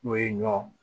N'o ye ɲɔ